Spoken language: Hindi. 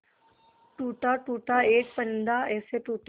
टूटा टूटा एक परिंदा ऐसे टूटा